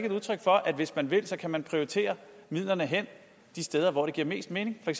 et udtryk for at hvis man vil kan man prioritere midlerne hen de steder hvor det giver mest mening